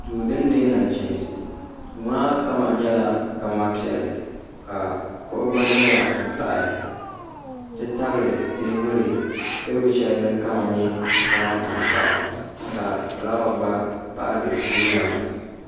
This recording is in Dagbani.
duu din deei nachiinsi duu maa kama nyɛla kala piɛlli ka kuɣu gba ʒɛya n pahi n ti tabili teebuli shɛli din kama nyɛ zaɣ tankpaɣu ka fulaawa gba pahi bɛ Duu ŋɔ ni